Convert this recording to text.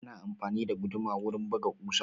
Ana amfani da guduma wurin buga ƙusa